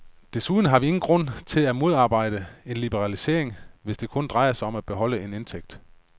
Desuden har vi ingen grund til at modarbejde en liberalisering, hvis det kun drejer sig om at beholde en indtægt.